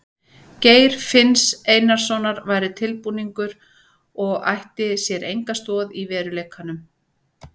Geir finns Einarssonar væri tilbúningur og ætti sér enga stoð í veruleikanum.